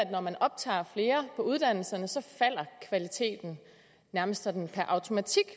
at når man optager flere på uddannelserne så falder kvaliteten nærmest sådan per automatik